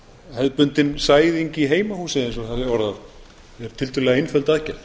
hefðbundin sæðing í heimahúsi eins og þarna er orðað tiltölulega einföld aðgerð